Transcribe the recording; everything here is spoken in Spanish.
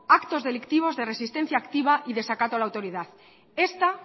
actos delictivos de resistencia activa y desacato a la autoridad esta